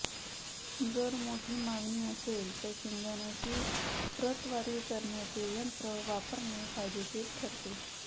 जर मोठी मागणी असेल तर शेंगदाण्याची प्रतवारी करण्याचे यंत्र वापरणे फायदेशीर ठरते